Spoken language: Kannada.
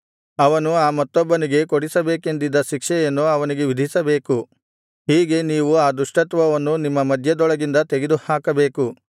ಅವನು ಆ ಮತ್ತೊಬ್ಬನಿಗೆ ಕೊಡಿಸಬೇಕೆಂದಿದ್ದ ಶಿಕ್ಷೆಯನ್ನು ಅವನಿಗೆ ವಿಧಿಸಬೇಕು ಹೀಗೆ ನೀವು ಆ ದುಷ್ಟತ್ವವನ್ನು ನಿಮ್ಮ ಮಧ್ಯದೊಳಗಿಂದ ತೆಗೆದುಹಾಕಬೇಕು